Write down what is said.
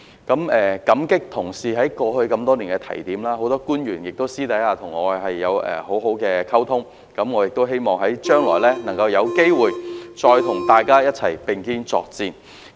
感激同事過去多年來的提點，很多官員私下亦與我有很好的溝通，希望將來能有機會再與大家並肩作戰。